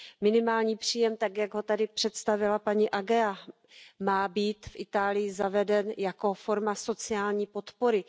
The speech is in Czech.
Minimální příjem tak, jak ho tady představila paní Ageaová, má být v Itálii zaveden jako forma sociální podpory.